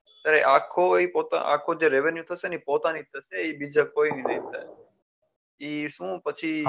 ત્યારે આખો એ જે revenue થશે ને એ પોતાની થશે એ કોઈ નો નહી થાય એ શું પછી